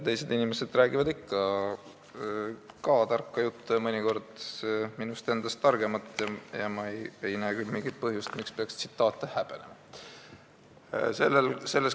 Teised inimesed räägivad ikka ka tarka juttu, mõnikord minust targemat, ja ma ei näe küll mingit põhjust, miks peaks tsitaate häbenema.